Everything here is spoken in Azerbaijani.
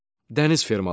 Dəniz fermaları.